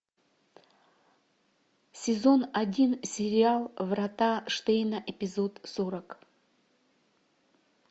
сезон один сериал врата штейна эпизод сорок